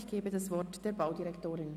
Ich gebe das Wort der Baudirektorin.